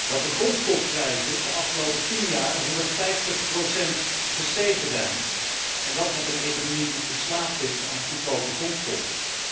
Dat de grondstofprijzen de afgelopen tien jaar met 150 gestegen zijn, en dat met een economie die verslaafd is aan goedkope grondstoffen.